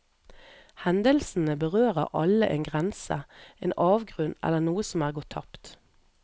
Hendelsene berører alle en grense, en avgrunn eller noe som er gått tapt.